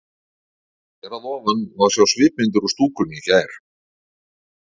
Hér að ofan má sjá svipmyndir úr stúkunni í gær.